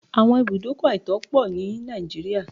There are many illegal motor parks in Nigeria